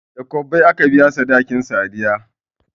Da kwabbai aka biya sadakin sadiya